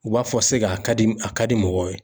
U b'a fɔ a ka di a ka di mɔgɔw ye.